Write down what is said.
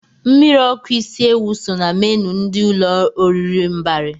Mmiri ọkụ isi ewụ so na menu ndị ụlọ oriri Mbari.